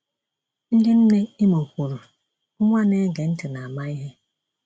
Ndị Nne Imo kwuru, Nwa na-ege ntị na-ama ihe.